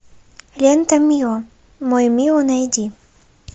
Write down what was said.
лента мио мой мио найди